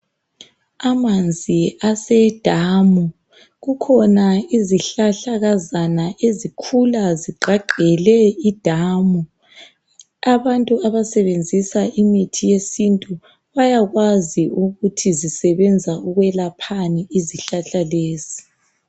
Amanzi asedamu kukhona izihlahlakazana ezikhula zigqagqele idamu abantu abasebenzisa imithi yesintu bayakwazi ukuthi zisebenza ukwelaphani izihlahla lezi.